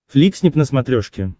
фликснип на смотрешке